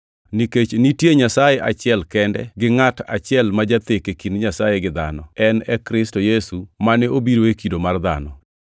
Nikech nitie Nyasaye achiel kende gi ngʼat achiel ma jathek e kind Nyasaye gi dhano, en e Kristo Yesu mane obiro e kido mar dhano.